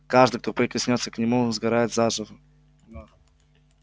каждый кто прикоснётся к нему сгорает заживо